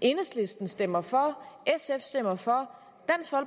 enhedslisten stemmer for sf stemmer for